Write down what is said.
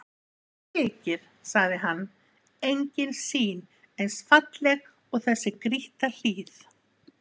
Mér þykir, sagði hann,-engin sýn eins falleg og þessi grýtta hlíð.